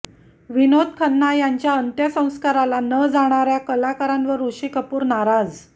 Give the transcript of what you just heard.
विनोद खन्ना यांच्या अंत्यसंस्काराला न जाणाऱ्या कलाकारांवर ऋषी कपूर नाराज